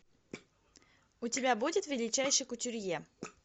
у тебя будет величайший кутюрье